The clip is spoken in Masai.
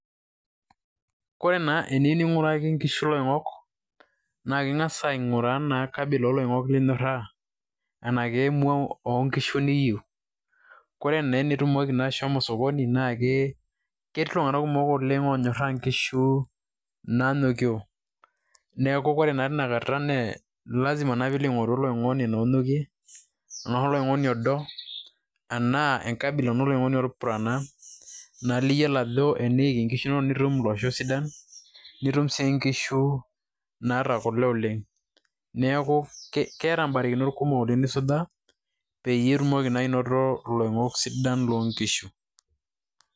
Kore naa eniyieu ning'oraki nkishu iloing'ok, naa ing'as aing'uraa naa kabila ooloing'ok linyorraa anake emua oonkishu niyieu. Kore naa enitumoki naa ashomo sokoni naa ketii iltung'anak kumok oleng' onyorraa nkishu naanyokio. Neeku ore naa tenakata naa lasima naa piilo aing'oru oloing'oni naa onyokie anaa oloing'oni odo, anaa enkabila oloing'oni lolpurana naa liyiolo ajo eneiki nkishu inonok nitum iloing'ok sidan, nitum sii nkishu naata kule oleng'. Neeku keeta mbarakinot kumok oleng' nisujaa, peyie itumoki naa anoto iloing'ok sidan loonkishu.